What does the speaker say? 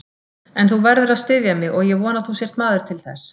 En þú verður að styðja mig og ég vona að þú sért maður til þess.